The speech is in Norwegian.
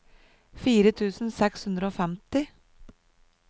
fire tusen seks hundre og femti